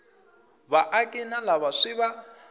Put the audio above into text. vaaki na lava swi va